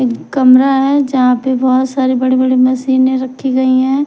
एक कमरा है जहां पे बहोत सारे बड़े बड़े मशीने रखी गई हैं।